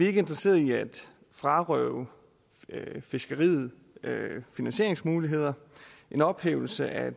ikke interesseret i at frarøve fiskeriet finansieringsmuligheder en ophævelse af